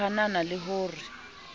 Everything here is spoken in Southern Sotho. o hanana le ho re